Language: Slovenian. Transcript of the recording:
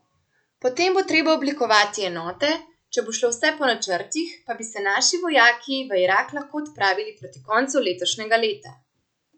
Potem bo treba oblikovati enote, če bo šlo vse po načrtih, pa bi se naši vojaki v Irak lahko odpravili proti koncu letošnjega leta.